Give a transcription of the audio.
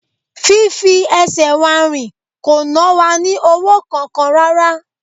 Fí fi ẹsẹ̀ wa rìn kò na wa ní owó kankan rárá